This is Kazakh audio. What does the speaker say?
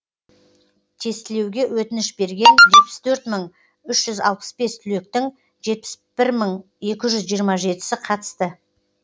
тестілеуге өтініш берген жетпіс төрт мың үш жүз алпыс бес түлектің жетпіс бір мың екі жүз жиырма жетісі қатысты